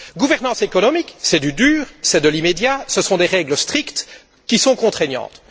La gouvernance économique, c'est du dur, c'est de l'immédiat, ce sont des règles strictes qui sont contraignantes.